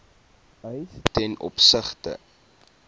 eis ten opsigte